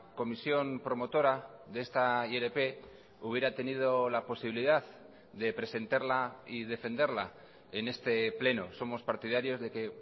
comisión promotora de esta ilp hubiera tenido la posibilidad de presentarla y defenderla en este pleno somos partidarios de que